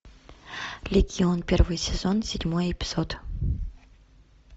легион первый сезон седьмой эпизод